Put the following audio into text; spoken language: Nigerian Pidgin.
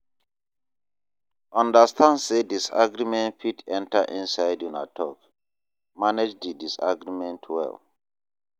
Understand sey disagreement fit enter inside una talk, manage di disagreement well